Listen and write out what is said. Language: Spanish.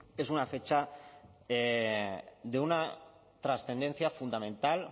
es una fecha de una trascendencia fundamental